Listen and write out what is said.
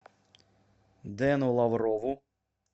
дэну лаврову